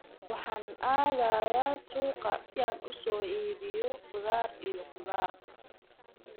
Waxaan aadayaa suuqa si aan u soo iibiyo khudaar iyo khudaar.